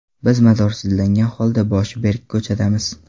Biz madorsizlangan holda boshi berk ko‘chadamiz.